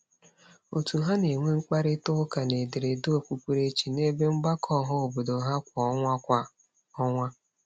Òtù ha na-enwe mkparịtaụka n'ederede okpukperechi n'ebe mgbakọ ọhaobodo ha kwa ọnwa. kwa ọnwa.